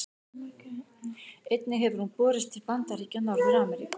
Einnig hefur hún borist til Bandaríkja Norður-Ameríku.